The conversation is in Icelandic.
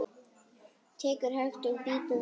Tekur hægt og bítandi á.